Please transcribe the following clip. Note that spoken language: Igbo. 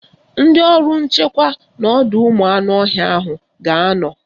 Ndị ọrụ nchekwa n'ọdọụmụanụọhịa ahụ ga-anọ